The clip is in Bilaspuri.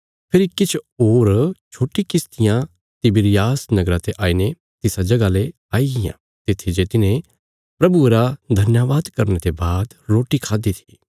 फेरी किछ होर छोट्टी किश्तियां तिबिरियास नगरा ते आईने तिसा जगह ले आईयां तित्थी जे तिन्हे प्रभुये रा धन्यवाद करने ते बाद रोटी खाद्दि थी